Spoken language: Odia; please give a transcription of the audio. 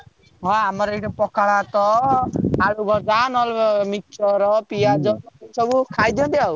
ହଁ ଆମର ଏଠି ପଖାଳ ଭାତ, ଆଳୁ ଭଜା, ନହେଲେ ମିକ୍ସଚର ପିଆଜ ସବୁ ଖାଇ ଦିଅନ୍ତି ଆଉ।